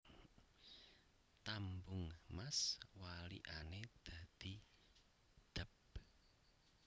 Tambung Mas walikane dadi Dab